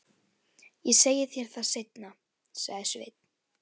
Ég segi þér það seinna, sagði Sveinn.